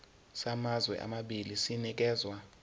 samazwe amabili sinikezwa